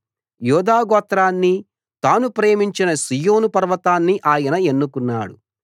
యూదా గోత్రాన్ని తాను ప్రేమించిన సీయోను పర్వతాన్ని ఆయన ఎన్నుకున్నాడు